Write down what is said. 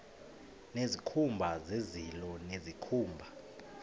nezikhumba zezilo nezikhumba